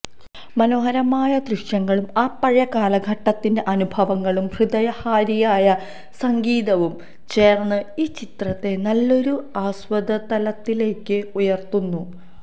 മനോഹരമായ ദൃശ്യങ്ങളും ആ പഴയ കാലഘട്ടത്തിന്റെ അനുഭവങ്ങളും ഹൃദയഹാരിയായ സംഗീതവും ചേര്ന്ന് ഈ ചിത്രത്തെ നല്ലൊരു ആസ്വാദനതലത്തിലേയ്ക്ക് ഉയര്ത്തുന്നു